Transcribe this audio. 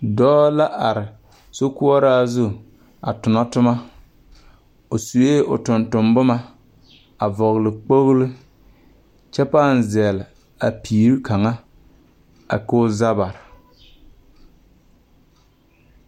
Dɔɔ la are sokoɔraa zu a tona toma o sue o tontonne boma a vɔgle kpoglo kyɛ pãã zɛle a piiri kaŋa ko o za bare.